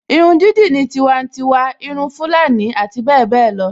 Irun dídì ní tiwantiwa, irun Fulani abbl